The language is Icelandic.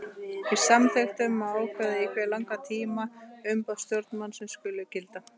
Í samþykktum má ákveða í hve langan tíma umboð stjórnarmanns skuli gilda.